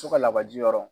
So ka labaji yɔrɔ